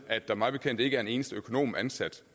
at der mig bekendt ikke er en eneste økonom ansat